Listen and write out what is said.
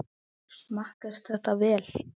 Smakkast þetta vel?